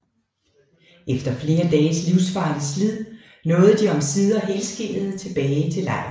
Efter flere dages livsfarligt slid nåede de omsider helskindede tilbage til lejren